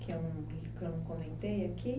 Que eu não que eu não comentei aqui?